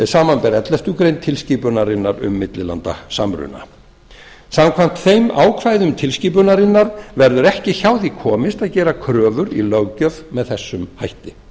samanber elleftu greinar tilskipunarinnar um millilandasamruna samkvæmt þeim ákvæðum tilskipunarinnar verður ekki hjá því komist að gera kröfur í löggjöf með þessum hætti